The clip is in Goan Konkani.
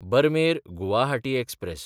बरमेर–गुवाहाटी एक्सप्रॅस